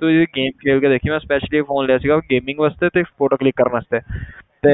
ਤੂੰ ਇਹ 'ਚ game ਖੇਲ ਕੇ ਦੇਖੀ, ਮੈਂ specially ਇਹ phone ਲਿਆ ਸੀਗਾ gaming ਵਾਸਤੇ ਤੇ photo click ਕਰਨ ਵਾਸਤੇ ਤੇ